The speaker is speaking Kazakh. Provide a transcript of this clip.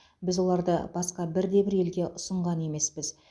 біз оларды басқа бірде бір елге ұсынған емеспіз